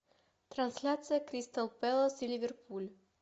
трансляция кристал пэлас и ливерпуль